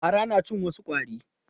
Fara na cin wasu ƙwarin.